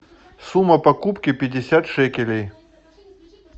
сумма покупки пятьдесят шекелей